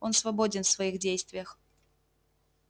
он свободен в своих действиях